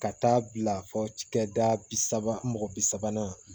Ka taa bila fo cɛkɛda bi saba mɔgɔ bi sabanan